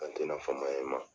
An tɛ na fama e ma.